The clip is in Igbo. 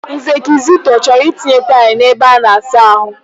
Nze Kizito, ọ chọọrọ itinye taịlụ n'ebe ọ na-asa ahụ mma.